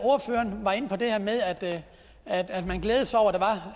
ordføreren var inde på det her med at at man glæder sig over